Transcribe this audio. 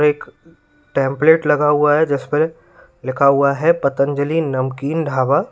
एक टेम्पलेट लगा हुआ है जिस पर लिखा हुआ है पतंजलि नमकीन ढ़ाबा।